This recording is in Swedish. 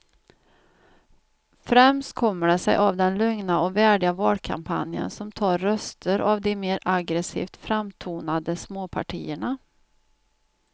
Främst kommer det sig av den lugna och värdiga valkampanjen som tar röster av de mer aggresivt framtonade småpartierna.